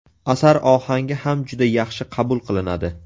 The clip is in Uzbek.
Asar ohangi ham juda yaxshi qabul qilinadi.